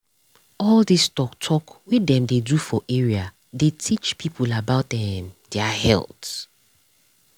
all this tok tok wey dem dey do for area dey teach people about um their um health.